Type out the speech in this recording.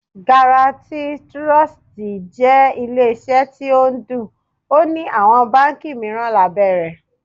Garatí Tirọsitì jẹ́ ilé iṣẹ́ tó ń Ódù, ó ní àwọn báńkì mìíràn lábẹ́ rẹ̀.